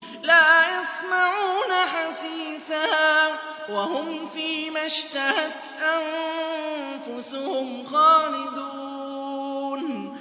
لَا يَسْمَعُونَ حَسِيسَهَا ۖ وَهُمْ فِي مَا اشْتَهَتْ أَنفُسُهُمْ خَالِدُونَ